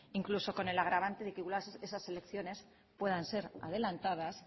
incluso con el agravante de que esas elecciones puedan ser adelantadas